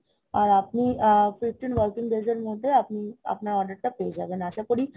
আর আপনি আ~ fifteen working days এর মধ্যে আপনি আপনার order টা পেয়েযাবেন আশা করি